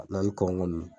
N'an ni kɔnkɔn ninnu